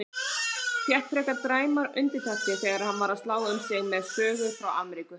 Fékk frekar dræmar undirtektir þegar hann var að slá um sig með sögum frá Ameríku.